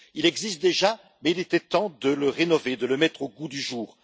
Il existe déjà, mais il était temps de le rénover, de le mettre au goût du jour.